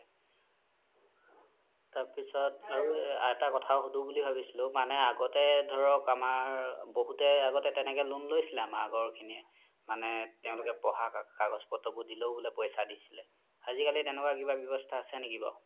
তাৰ পিছত আৰু এটা সোধো বুলি ভাবিছিলো মানে আগতে ধৰক আমাৰ বহুত আগ্তে তেনেকে loan লৈছিলে আমাৰ আগৰ খিনিয়ে মানে তেওলোকে পঢ়া কাগজ পত্ৰ বোৰ দিলেও বুলে পইচা দিছিলে আজিকালি তেনেকুৱা ৱ্যাবস্থা আছে নেকি বাৰু